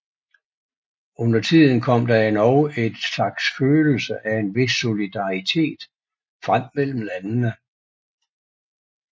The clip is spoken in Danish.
Undertiden kom der endog en slags følelse af en vis solidaritet frem mellem landene